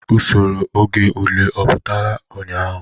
Usoro oge ule ọ pụtara ụnyahụ?